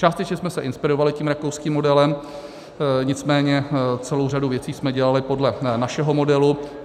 Částečně jsme se inspirovali tím rakouským modelem, nicméně celou řadu věcí jsme dělali podle našeho modelu.